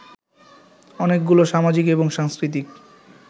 অনেকগুলো সামাজিক এবং সাংস্কৃতিক